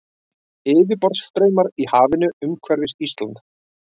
Yfirborðsstraumar í hafinu umhverfis Ísland.